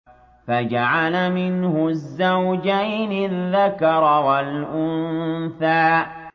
فَجَعَلَ مِنْهُ الزَّوْجَيْنِ الذَّكَرَ وَالْأُنثَىٰ